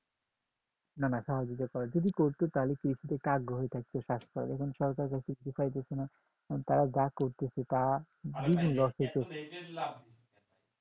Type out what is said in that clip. না না সহযোগী করেনা যদি করত তাহলে কৃষিতে আগ্রহ থাকতো চাষ করার যখন সরকারের কাছে পাচ্ছিনা তখন যারা যা করতেছে তা বিভিন্ন loss হচ্ছে